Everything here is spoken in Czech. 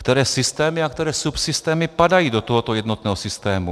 Které systémy a které subsystémy padají do tohoto jednotného systému?